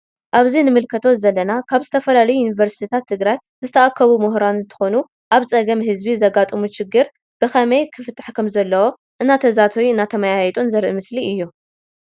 አብዚ ንምልከቶ ዘለና ካብ ዝተፈላለዩ ዩኒቨርስትታት ትግራይ ዝተአከቡ ሙሁራን እንትኮኑ አብ ፀገም ህዝቢ ዘጋጥሙ ሽግር ብከመይ ክፍታሕ ከም ዘለዎ እናተዛተዩ እናተማያየጡ ዘሪኢ ምስሊ እዩ።